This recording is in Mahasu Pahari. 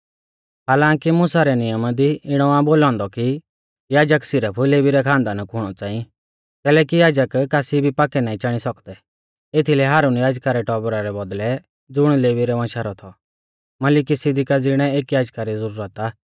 हालांकी मुसा रै नियमा दी इणौ आ बोलौ औन्दौ कि याजक सिरफ लेवी रै खानदाना कु हुणौ च़ांई कैलैकि याजक कासी भी पाक्कै नाईं चाणी सौकदै एथीलै हारुन याजका रै टौबरा रै बौदल़ै ज़ुण लेवी रै वंशा रौ थौ मलिकिसिदिका ज़िणै एक याजका री ज़ुरत आ